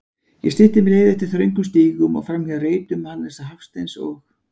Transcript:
Ég stytti mér leið eftir þröngum stígum, framhjá reitum Hannesar Hafsteins og